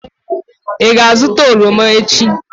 ị ga-azụta oroma echi?